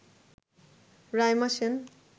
Raima Sen